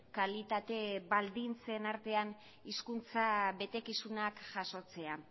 kalitate baldintzen artean hizkuntza betekizunak jasotzea